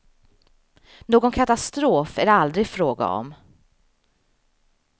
Någon katastrof är det aldrig fråga om.